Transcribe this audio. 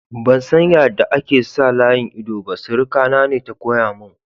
Ban san yada ake sa layin ido ba, suruka na ne ta koya mun.